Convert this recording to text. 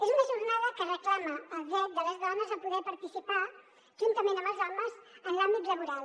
és una jornada que reclama el dret de les dones a poder participar juntament amb els homes en l’àmbit laboral